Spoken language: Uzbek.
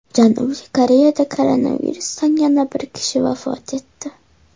Janubiy Koreyada koronavirusdan yana bir kishi vafot etdi.